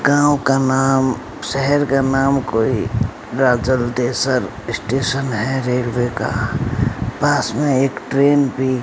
गांव का नाम शहर का नाम कोई राजलदेसर स्टेशन है रेलवे का पास में एक ट्रेन भी --